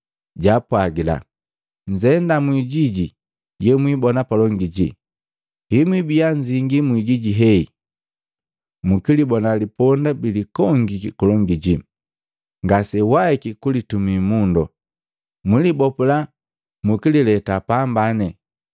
jaapwagila, “Nzenda mu ijiji yemwibona palongi jii. Hemwibia nzingi mu ijiji heyi, mkilibona liponda bilikongiki kulongi jii ngasejuwahiki kulitumii mundo. Mwilibopula mukilileta pambane. Kamwana ki liponda|alt="The child of a donkey" src="15 Colt.jpg" size="col" ref="19:30"